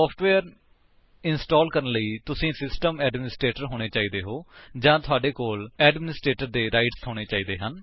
software ਨੂੰ install ਕਰਨ ਲਈ ਤੁਸੀ ਸਿਸਟਮ ਐਡਮਿਨਿਸਟ੍ਰੇਟਰ ਹੋਣੇ ਚਾਹੀਦੇ ਹੋ ਜਾਂ ਤੁਹਾਡੇ ਕੋਲ ਐਡਮਿਨਿਸਟ੍ਰੇਟਰ ਦੇ ਅਧਿਕਾਰ ਹੋਣੇ ਚਾਹੀਦੇ ਹੋ